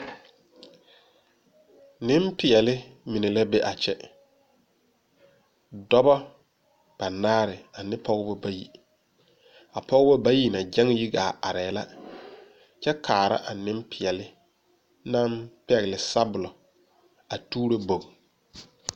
Ninpɛɛle mene la be a kye dɔbo banaare ane pɔgba bayi a pɔgba bayi na kyen yi gaa arẽ la kye kaara a ninpɛɛle nang pɛgli sabulo a tuuro bog.